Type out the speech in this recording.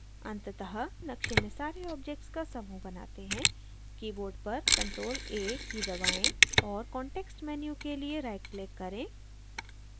अंततः नक़्शे में सारे objects का समूह बनाते हैं keyboard पर ctrl + a की दबाएं और context menu के लिए rightclick करें